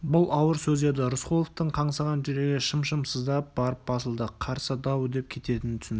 бұл ауыр сөз еді рысқұловтың қаңсыған жүрегі шым-шым сыздап барып басылды қарсы дау үдеп кететінін түсінді